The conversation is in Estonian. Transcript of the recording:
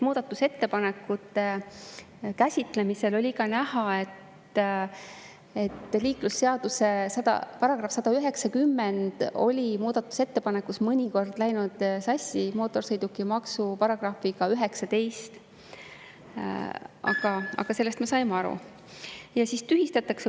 Muudatusettepanekute käsitlemisel oli ka näha, et liiklusseaduse § 190 oli muudatusettepanekus mõnikord läinud sassi mootorsõidukimaksu §-ga 19, aga sellest me saime aru.